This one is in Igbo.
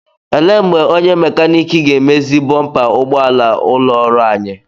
Ele mgbe onye mekanik ga-emezi bọmpa ụgbọala ụlọ ọrụ anyị?